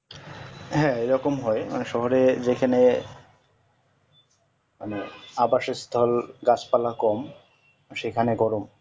হ্যাঁ এরকম হয় শহরে যেখানে মানে আবাসিক স্থল গাছ পালা কম সেখানে গরম